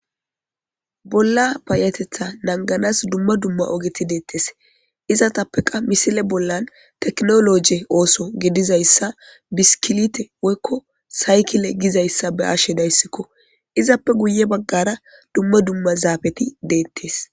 Bolla payatetha naganas duma duma ogeti detes hesatapeka misile bollan tekinolojy oso gidizays bishikilite woyiko sayikile gizayisa be'ashe dayisiko izape guye bagara duma duma zapeti detes